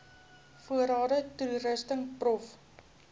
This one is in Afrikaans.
voorrade toerusting prof